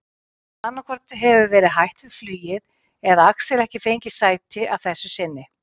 Annaðhvort hefur verið hætt við flugið eða Axel ekki fengið sæti að þessu sinni.